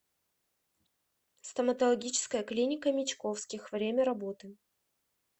стоматологическая клиника мечковских время работы